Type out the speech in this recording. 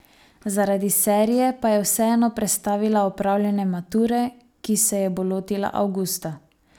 Zaradi serije pa je vseeno prestavila opravljanje mature, ki se je bo lotila avgusta.